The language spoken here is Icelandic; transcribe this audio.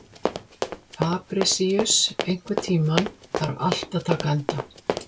Fabrisíus, einhvern tímann þarf allt að taka enda.